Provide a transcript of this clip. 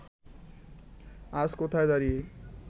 আজ কোথায় দাঁড়িয়ে